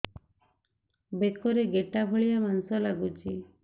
ବେକରେ ଗେଟା ଭଳିଆ ମାଂସ ଲାଗୁଚି